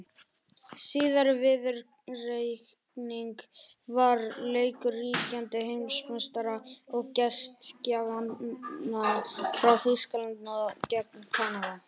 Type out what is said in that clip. Síðari viðureignin var leikur ríkjandi heimsmeistara og gestgjafanna frá Þýskalandi gegn Kanada.